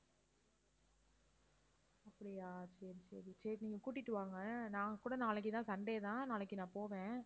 அப்படியா சரி, சரி. சரி, நீங்க கூட்டிட்டு வாங்க. நான் கூட நாளைக்கு தான் sunday தான் நாளைக்கு நான் போவேன்.